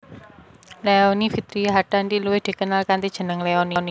Leony Vitria Hartanti luwih dikenal kanthi jeneng Leony